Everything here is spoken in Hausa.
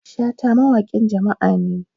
shata mawaƙin jama'a ne